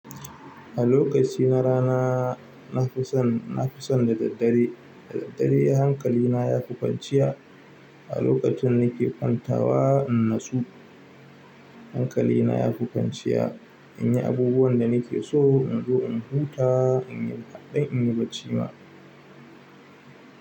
A lokaci na rana na fi son, na fi son da daddare, da daddare hankali na ya kwanceya. A lokacin da ni ke kwanta wa in natsu hankali na ya fi kwanciya in yi abubuwan da ni ke so in zo in huta, in yi faɗan in yi bacci ma.